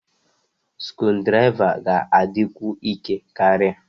Skrudraịva ga-adịkwu ike karịa.